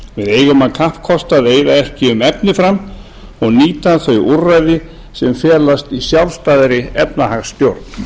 eigum að kappkosta að eyða ekki um efni fram og nýta þau úrræði sem felast í sjálfstæðri efnahagsstjórn